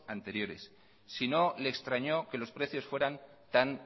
anteriores si no le extrañó que los precios fueran tan